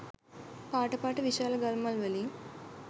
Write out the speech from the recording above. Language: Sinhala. පාට පාට විශාල ගල් මල් වලින්.